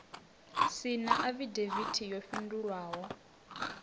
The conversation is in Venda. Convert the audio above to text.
si na afidavithi yo fhindulwaho